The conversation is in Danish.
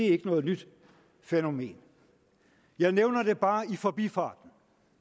ikke noget nyt fænomen jeg nævner det bare i forbifarten